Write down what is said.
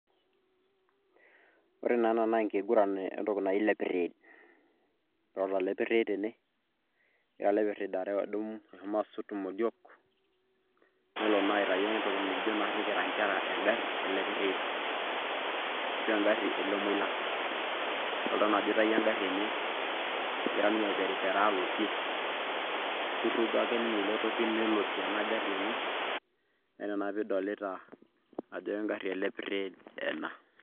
Ore naa ena naa enkiguran entoki naji lepirriid. Idolita lepirriid tene, egira lepirriid eshomo asot imodiok nelo naa aitayu entoki nikijo naarri kira nkera engarri e Lepirriid ashu engarri elemoilak. Idolita naa ajo eitayuo engarri enye egira ninye aiperiperaa alotie. Kirrugo ake ninye ele toki nelotie ena garri enye naa ina naa piidolita ajo engarri e lepirrid ena.